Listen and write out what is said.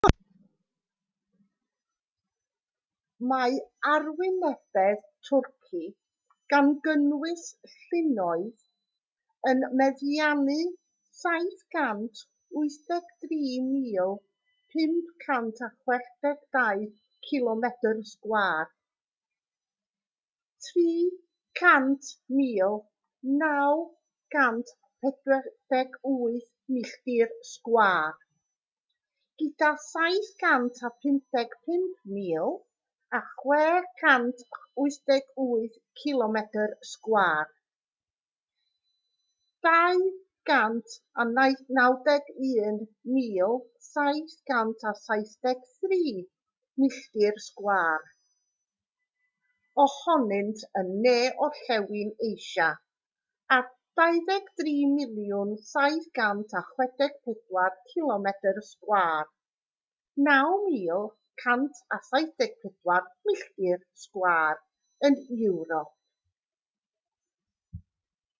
mae arwynebedd twrci gan gynnwys llynnoedd yn meddiannu 783,562 cilomedr sgwâr 300,948 milltir sgwâr gyda 755,688 cilomedr sgwâr 291,773 milltir sgwâr ohonynt yn ne-orllewin asia a 23,764 cilomedr sgwar 9,174 milltir sgwar yn ewrop